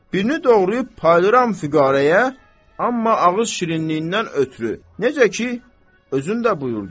Birini doğrayıb paylayıram füqərəyə, amma ağız şirinliyindən ötrü, necə ki, özün də buyurdun.